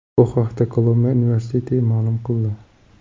Bu haqda Kolumbiya universiteti ma’lum qildi .